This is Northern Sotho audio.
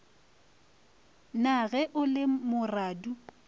na ge o le moradu